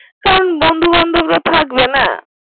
তাখন বন্ধু বান্ধাব রা থাকবে না।